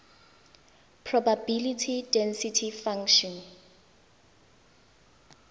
probability density function